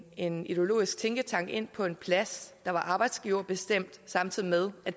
en ideologisk tænketank ind på en plads der var arbejdsgiverbestemt samtidig med at